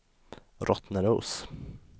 Rottneros